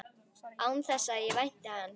Án þess að ég vænti hans.